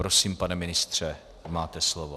Prosím, pane ministře, máte slovo.